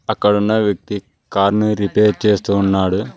అక్కడున్న వ్యక్తి కార్ని రిపేర్ చేస్తూ ఉన్నాడు.